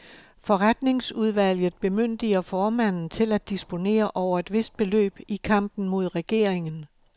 Forretningsudvalget bemyndiger formanden til at disponere over et vist beløb i kampen mod regeringen.